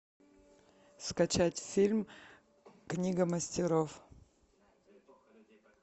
скачать фильм книга мастеров